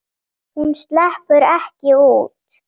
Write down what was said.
Hún sleppur ekki út.